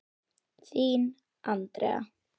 Þín, Andrea.